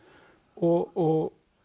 og